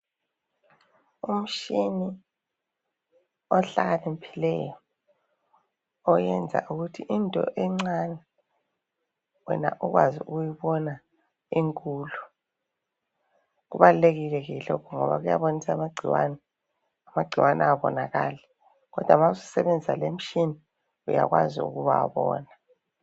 Umtshina ohlakaniphileyo oyenza ukuthi into encane wena ukwazi ukuyibona inkulu kubalulekile ke lokhu ngoba kuyabonisa amangcikwane, amangcikwane abonakali kodwa ma susebenzisa leyo mtshina uyakwazi ukuwabona.